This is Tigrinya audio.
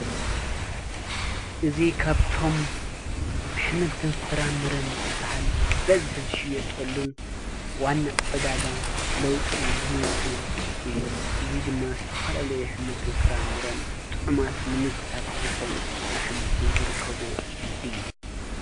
እዙ ኻብቶም ኣኅምልቲ ን ፍራምርን ዝበሃል ብበዝሒ ዝሽ የጠልን ዋና ዕዳጋ ሎውጥን ኔግድን እዩ። እዙይ ድማ ስተፋልለየ ኅምልትን ፍራምረን ጥዑማት ንምጉታት ዝኾኑ ኣኅምልትን ዘርከብዎ እዩ።